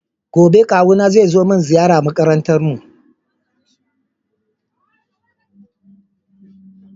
Gobe Kawuna zai zo mini ziyara a makarantar mu.